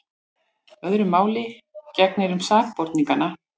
Öðru máli gegnir um sakborningana.